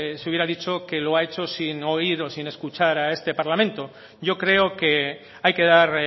se hubiera dicho que lo ha hecho sin oír o sin escuchar a este parlamento yo creo que hay que dar